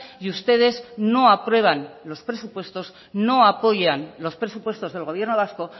y ustedes no aprueban los presupuestos no apoyan los presupuestos del gobierno vasco